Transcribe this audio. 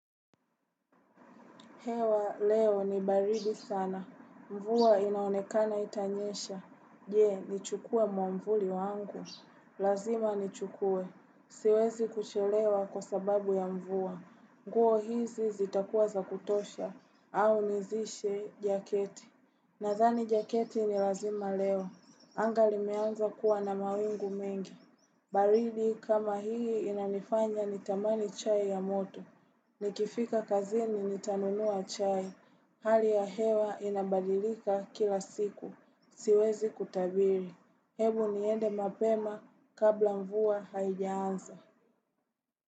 Hewa, leo ni baridi sana. Mvuwa inaonekana itanyesha. Je, nichukua mwamvuli wangu. Lazima nichukue. Siwezi kuchelewa kwa sababu ya mvuwa. Nguo hizi zitakuwa za kutosha au nizishe jaketi. Nazani jaketi ni lazima leo. Angali meanza kuwa na mawingu mengi. Baridi kama hii inanifanya nitamani chai ya moto. Ni kifika kazini ni tanunua chai. Hali ya hewa inabadilika kila siku. Siwezi kutabiri. Hebu niende mapema kabla mvua haijaanza.